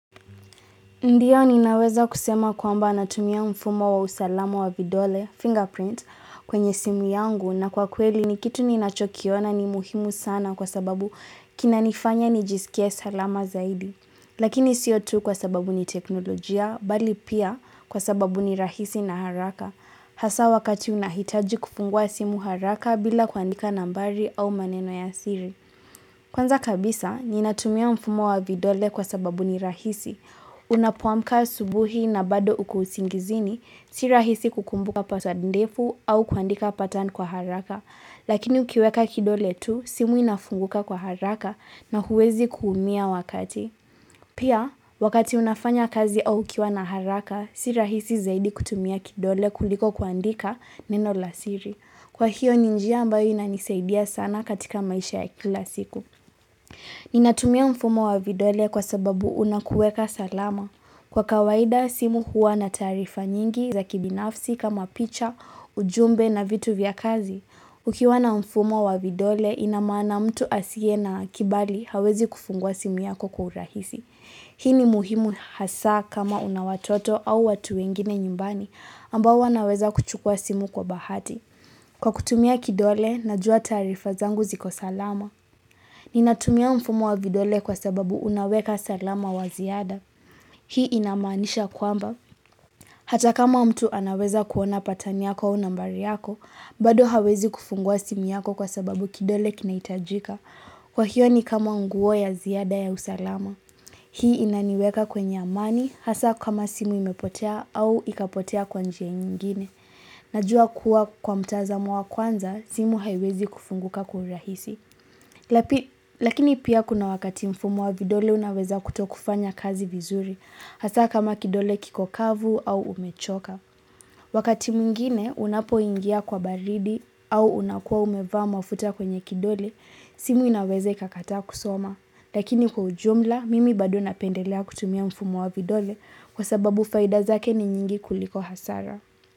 Ndiyo ni naweza kusema kwamba natumia mfumo wa usalama wa vidole, fingerprint, kwenye simu yangu na kwa kweli ni kitu ni nachokiona ni muhimu sana kwa sababu kinanifanya ni jisikia salama zaidi. Lakini siotu kwa sababu ni teknolojia, bali pia kwa sababu ni rahisi na haraka. Hasa wakati unahitaji kufungua simu haraka bila kuandika nambari au maneno ya siri. Kwanza kabisa, ni natumia mfumo wa vidole kwa sababu ni rahisi. Unapuamka subuhi na bado ukuusingizini, si rahisi kukumbuka paswadi ndefu au kuandika patan kwa haraka, lakini ukiweka kidole tu, simu inafunguka kwa haraka na huwezi kuumia wakati. Pia, wakati unafanya kazi au ukiwa na haraka, si rahisi zaidi kutumia kidole kuliko kuandika neno lasiri. Kwa hiyo ninjia ambayo inanisaidia sana katika maisha ya kila siku. Ninatumia mfumo wa vidole kwa sababu unakueka salama. Kwa kawaida, simu huwa na tarifa nyingi za kibinafsi kama picha, ujumbe na vitu vya kazi. Ukiwa na mfumo wa vidole, inamana mtu asie na kibali hawezi kufungua simu yako kwa urahisi. Hii ni muhimu hasa kama unawatoto au watu wengine nyumbani ambao wanaweza kuchukua simu kwa bahati. Kwa kutumia kidole, najua tarifa zangu ziko salama. Ninatumia mfumo wa vidole kwa sababu unaweka salama wa ziada. Hii inamanisha kwamba. Hata kama mtu anaweza kuona patani yako unambari yako, bado hawezi kufungua simi yako kwa sababu kidole kinaitajika. Kwa hiyo ni kama nguo ya ziada ya usalama. Hii inaniweka kwenye amani, hasa kama simu imepotea au ikapotea kwanjia nyingine. Najua kuwa kwa mtazamo wa kwanza, simu haiwezi kufunguka kwa urahisi. Lakini pia kuna wakati mfumo wa vidole unaweza kutokufanya kazi vizuri, hasa kama kidole kikokavu au umechoka. Wakati mungine unapo ingia kwa baridi au unakua umevama ufuta kwenye kidole, simu inaweze kakataa kusoma. Lakini kwa ujumla, mimi bado napendelea kutumia mfumo wa vidole kwa sababu faidazake ni nyingi kuliko hasara.